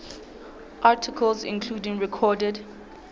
articles including recorded